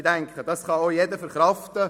Ich denke, das kann auch jeder verkraften.